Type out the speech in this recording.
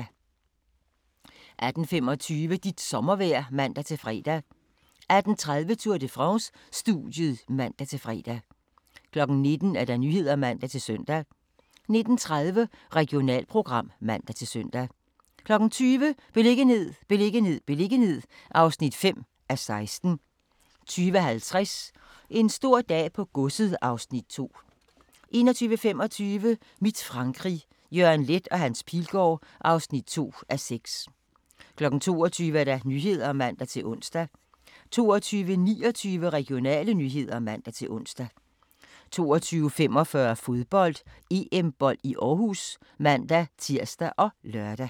18:25: Dit sommervejr (man-fre) 18:30: Tour de France: Studiet (man-fre) 19:00: Nyhederne (man-søn) 19:30: Regionalprogram (man-søn) 20:00: Beliggenhed, beliggenhed, beliggenhed (5:16) 20:50: En stor dag på godset (Afs. 2) 21:25: Mit Frankrig – Jørgen Leth & Hans Pilgaard (2:6) 22:00: Nyhederne (man-ons) 22:29: Regionale nyheder (man-ons) 22:45: Fodbold: EM-bold i Aarhus (man-tir og lør)